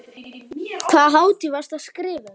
Hvaða hátíð varstu að skrifa um?